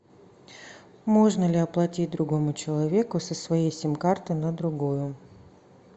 можно ли оплатить другому человеку со своей сим карты на другую